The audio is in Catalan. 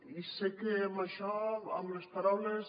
i sé que amb això amb les paraules